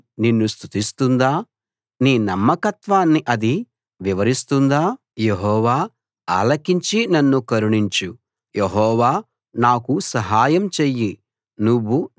నేను చనిపోయి సమాధిలోకి దిగిపోతే ప్రయోజనం ఏముంది మట్టి నిన్ను స్తుతిస్తుందా నీ నమ్మకత్వాన్ని అది వివరిస్తుందా